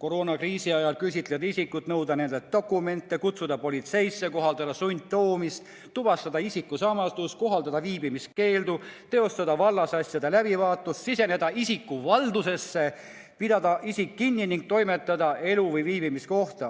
koroonakriisi ajal küsitleda isikuid, nõuda nendelt dokumente, kutsuda neid politseisse, kohaldada sundtoomist, tuvastada isikusamasust, kohaldada viibimiskeeldu, teostada vallasasjade läbivaatust, siseneda isiku valdusesse, pidada isik kinni ning toimetada ta elu- või viibimiskohta.